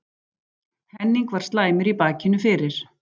Henning var slæmur í bakinu fyrir